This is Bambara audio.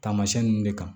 Tamasiyɛn nunnu de kan